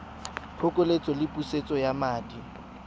phokoletso le pusetso ya madi